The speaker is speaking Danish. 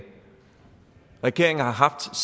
og regeringen har haft